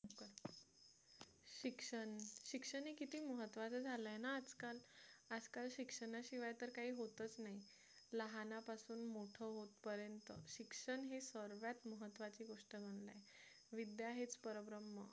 शिक्षण शिक्षण किती महत्त्वाचं झालं आहे ना आजकाल आजकाल शिक्षणाशिवाय तर काही होतच नाही लहानापासून मोठे होत पर्यंत शिक्षण हे सर्वात महत्त्वाची गोष्ट मानली आहे विद्या हेच परब्रम्ह